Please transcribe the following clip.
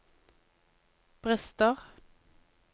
brister